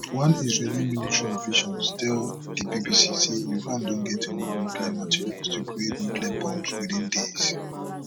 one israeli military official tell di bbc say iran don get enough nuclear material to create nuclear bombs within days